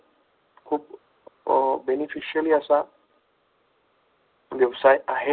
खूप beneficially असा व्यवसाय आहेत.